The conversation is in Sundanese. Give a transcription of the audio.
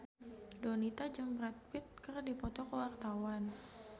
Donita jeung Brad Pitt keur dipoto ku wartawan